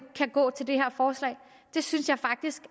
kan gå til det her forslag det synes jeg faktisk